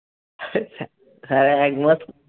হ্যাঁ একমত